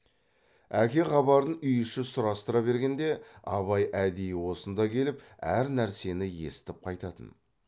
әке хабарын үй іші сұрастыра бергенде абай әдейі осында келіп әр нәрсені естіп қайтатын